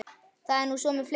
Það er nú svo með fleiri.